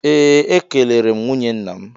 Ee, ekelere m nwunye nna m